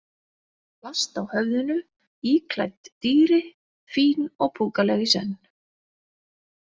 Plast á höfðinu, íklædd dýri, fín og púkaleg í senn.